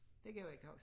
Det kan jeg ikke huske